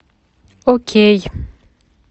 окей